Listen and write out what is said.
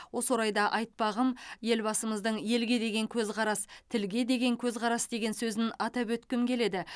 осы орайда айтпағым елбасымыздың елге деген көзқарас тілге деген көзқарас деген сөзін атап өткім келеді